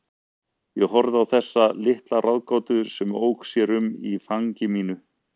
Ég horfði á þessa litla ráðgátu sem ók sér um í fangi mínu.